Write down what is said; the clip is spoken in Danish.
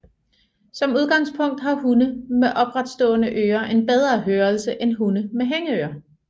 Som udgangspunkt har hunde med opretstående ører en bedre hørelse end hunde med hængeører